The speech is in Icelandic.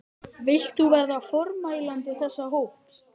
Vilt þú verða formælandi þess hóps?